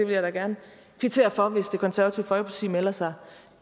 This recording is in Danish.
vil da gerne kvittere for det hvis det konservative folkeparti melder sig